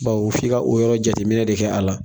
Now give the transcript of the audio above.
Bawo f'i ka o yɔrɔ jateminɛ de kɛ a la